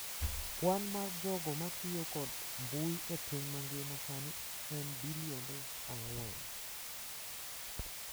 Kwan mar jogo ma tiyo kod mbui e piny mangima sani en bilionde ang’wen.